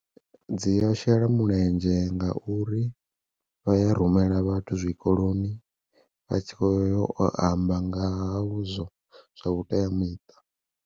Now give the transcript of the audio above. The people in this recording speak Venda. Dzi a shela mulenzhe ngauri vha ya rumela vhathu zwikoloni vha tshi kho yo u amba nga ha vhu zwo zwa vhuteamiṱa.